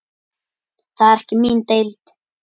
Það er ekki mín deild.